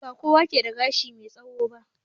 Ba kowa ke da gashi mai tsawo ba.